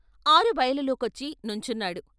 ఆరుబయలులో కొచ్చి సుంచున్నాడు.